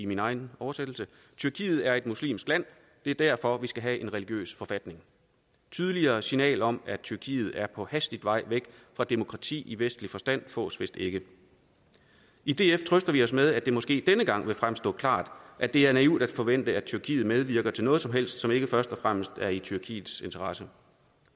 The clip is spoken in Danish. min egen oversættelse tyrkiet er et muslimsk land det er derfor at vi skal have en religiøs forfatning og tydeligere signal om at tyrkiet er på hastig vej væk fra demokrati i vestlig forstand fås vist ikke i df trøster vi os med at det måske denne gang vil fremstå klart at det er naivt at forvente at tyrkiet medvirker til noget som helst som ikke først og fremmest er i tyrkiets interesse